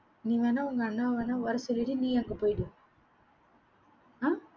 நீ வேணா உங்க அண்ணாவா வேணா வர சொல்லிடு நீ அங்கே போயிடு ஆஹ்